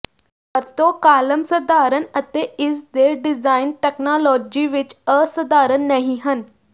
ਵਰਤੋ ਕਾਲਮ ਸਧਾਰਨ ਅਤੇ ਇਸ ਦੇ ਡਿਜ਼ਾਇਨ ਤਕਨਾਲੋਜੀ ਵਿੱਚ ਅਸਾਧਾਰਨ ਨਹੀ ਹਨ